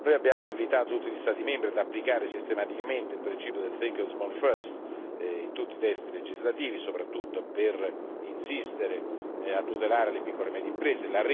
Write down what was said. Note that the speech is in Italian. Abbiamo invitato tutti gli Stati membri ad applicare sistematicamente il principio del Think small first in tutti i testi legislativi, soprattutto per insistere sulla tutela delle piccole e medie imprese.